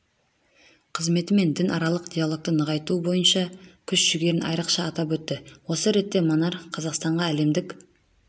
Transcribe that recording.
қызметі мен дінаралық диалогты нығайту бойынша күш-жүгерін айрықша атап өтті осы ретте монарх қазақстанға әлемдік